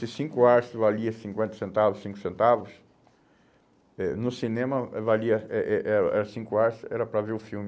Se cinco arço valia cinquenta centavos, cinco centavos, eh no cinema valia, eh eh era era cinco arços era para ver o filme.